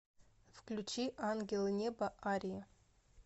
включи ангелы неба арии